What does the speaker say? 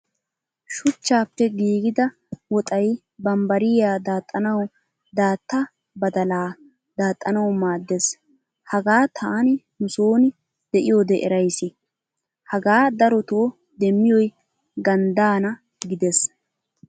Shuchchappe giigida woxay bambariyaa daaxanawu daatta badalaa daxxanawu maaddes. Hagaa taani nu sooni de'iyode eraysi. Hagaa daroto demiyoy ganddaana gidees.